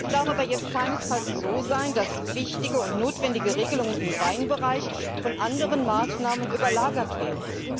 Es darf aber jetzt keinesfalls so sein, dass wichtige und notwendige Regelungen im Weinbereich von anderen Maßnahmen überlagert werden.